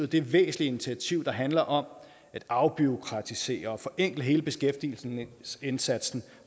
det væsentlige initiativ der handler om at afbureaukratisere og forenkle hele beskæftigelsesindsatsen